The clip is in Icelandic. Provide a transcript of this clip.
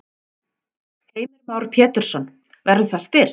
Heimir Már Pétursson: Verður það styrkt?